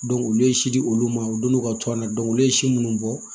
olu ye si di olu ma u don n'u ka to an na olu ye si munnu bɔ